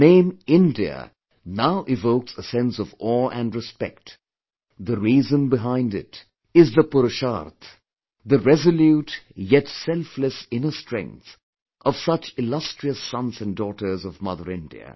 The name 'India' now evokes a sense of awe & respect; the reason behind it is the 'Purusharth', the resolute yet selfless inner strength of such illustrious sons & daughters of Mother India